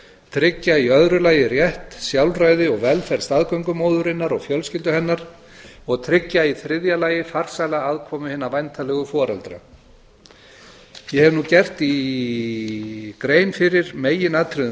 tryggja í öðru lagi rétt sjálfræði og velferð staðgöngumóðurinnar og fjölskyldu hennar og tryggja í þriðja lagi farsæla aðkomu hinna væntanlegu foreldra ég hef nú gert grein fyrir meginatriðum